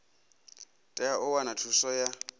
tea u wana thuso ya